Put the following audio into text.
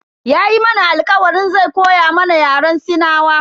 Yayi mana alkawarin zai koya mana Yaren sinawa.